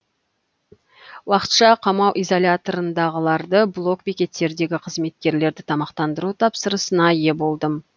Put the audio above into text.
уақытша қамау изоляторындағыларды блок бекеттердегі қызметкерлерді тамақтандыру тапсырысына ие болдым